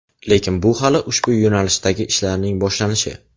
Lekin bu hali ushbu yo‘nalishdagi ishlarning boshlanishi.